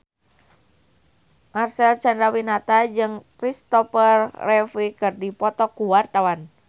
Marcel Chandrawinata jeung Christopher Reeve keur dipoto ku wartawan